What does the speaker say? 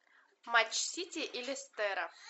матч сити и лестера